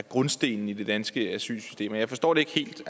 grundstenen i det danske asylsystem jeg forstår det ikke helt